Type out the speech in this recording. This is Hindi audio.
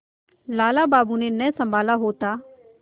लाला बाबू ने न सँभाला होता